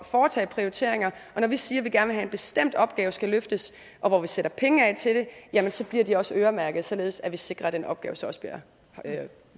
foretage prioriteringer og når vi siger at vi gerne vil en bestemt opgave skal løftes og vi sætter penge af til det jamen så bliver de også øremærket således at vi sikrer at den opgave så også bliver